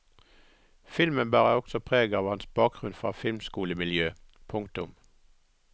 Filmen bærer også preg av hans bakgrunn fra filmskolemiljø. punktum